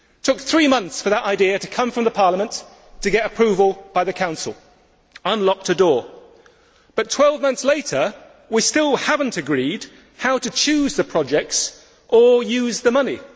It took three months for that idea to come from Parliament, to get approval by the Council to unlock the door, but 12 months later, we still have not agreed how to choose the projects or use the money.